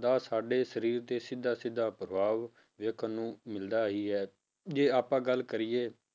ਦਾ ਸਾਡੇ ਸਰੀਰ ਤੇ ਸਿੱਧਾ ਸਿੱਧਾ ਪ੍ਰਭਾਵ ਵੇਖਣ ਨੂੰ ਮਿਲਦਾ ਹੀ ਹੈ, ਜੇ ਆਪਾਂ ਗੱਲ ਕਰੀਏ